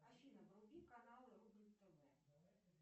афина вруби каналы рубль тв